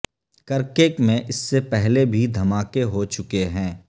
Kirkuk میں اس سے پہلے بھی دھماکے ہو چکے ہیں